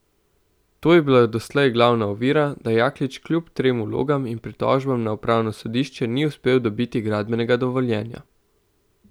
To je bila doslej glavna ovira, da Jaklič kljub trem vlogam in pritožbam na upravno sodišče ni uspel dobiti gradbenega dovoljenja.